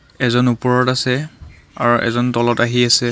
এজন ওপৰত আছে আৰু এজন তলত আহি আছে।